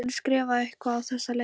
Hún skrifar eitthvað á þessa leið: